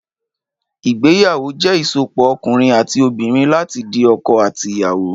Ìgbẹyàwó jẹ ìsópọ̀ òkúnrin àtí òbínrìn làtí di ọkọ àtí Ìyàwó